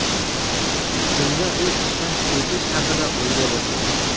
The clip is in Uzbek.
Shunda u ishdan ketish haqida o‘ylay boshlagan.